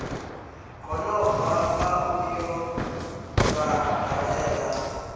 gonobva la u yo vhadalela